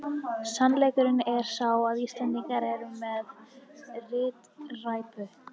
Sannleikurinn er sá að Íslendingar eru með ritræpu!